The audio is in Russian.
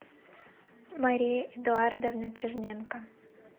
мария эдуардовна черненко